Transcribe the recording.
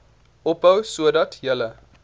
ophou sodat julle